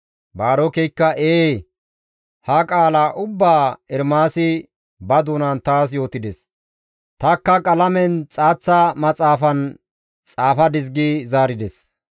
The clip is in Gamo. Baarokeykka, «Ee, ha qaala ubbaa Ermaasi ba doonappe taas yootides; tanikka qalamen xaaththa maxaafan xaafadis» gi zaarides.